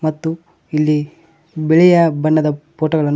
ಮತ್ತು ಇಲ್ಲಿ ಬಿಳಿಯ ಬಣ್ಣದ ಫೋಟೋ ಗಳನ್ನು--